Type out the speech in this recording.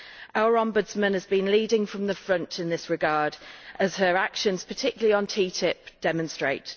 Our Ombudsman has been leading from the front in this regard as her actions, particularly on TTIP, demonstrate.